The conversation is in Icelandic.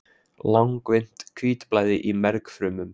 langvinnt hvítblæði í mergfrumum